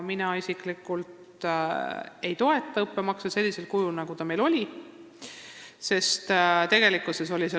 Mina isiklikult ei toeta õppemaksu sellisel kujul, nagu see meil oli.